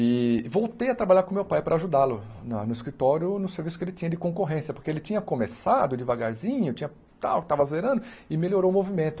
E voltei a trabalhar com meu pai para ajudá-lo na no escritório, no serviço que ele tinha de concorrência, porque ele tinha começado devagarzinho, tinha tal estava zerando, e melhorou o movimento.